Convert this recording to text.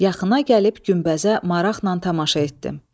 Yaxına gəlib günbəzə maraqla tamaşa etdim.